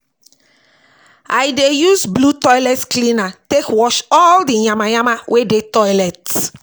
I dey use blew toilet cleaner take wash all di yama yama wey dey toilet